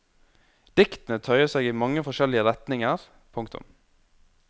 Diktene tøyer seg i mange forskjellige retninger. punktum